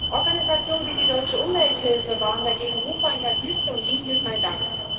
Organisationen wie die Deutsche Umwelthilfe waren dagegen Rufer in der Wüste, und ihnen gilt mein Dank.